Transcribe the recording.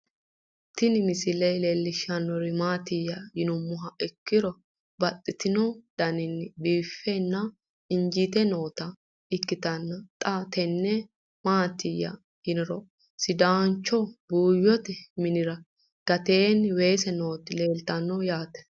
Tini misile lelishshanori maattiya yinummoha ikkiro babaxxittinno daniinni biiffe nna injiitte nootta ikkittanna xa tinni maattiya yinniro sidaancho buuyotte minnira gateenni weesse nootti leelittanno yaatte.